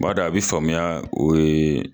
B'a dɔn a bɛ faamuya